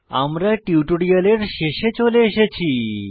আমরা টিউটোরিয়ালের শেষে চলে এসেছি